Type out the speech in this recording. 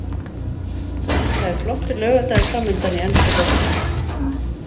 Það er flottur laugardagur framundan í enska boltanum.